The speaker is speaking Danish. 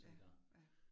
Ja, ja